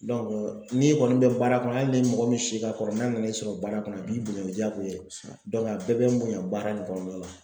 n'i kɔni bɛ baara kɔnɔ hali ni mɔgɔ min si ka kɔrɔ n'a nana i sɔrɔ baara kɔnɔ a b'i bonya o ye jaagoya ye a bɛɛ bɛ n bonya baara in kɔnɔna na.